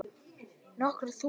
Nokkur þúsund?